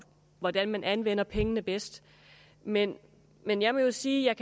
hvordan man anvender pengene bedst men men jeg vil jo sige at